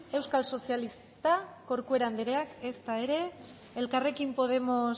euskal sozialistak corcuera andereak ezta ere elkarrekin podemos